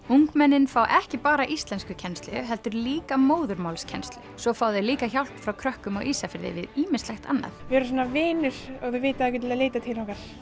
ungmennin fá ekki bara íslenskukennslu heldur líka móðurmálskennslu svo fá þau líka hjálp frá krökkum á Ísafirði við ýmislegt annað við erum svona vinir og þau vita að þau geta leitað til okkar